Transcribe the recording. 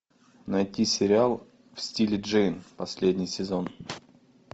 найти сериал в стиле джейн последний сезон